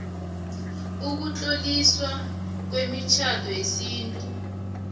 ukutloliswa kwemitjhado yesintu